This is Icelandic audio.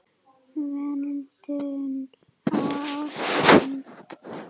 Verndun og ástand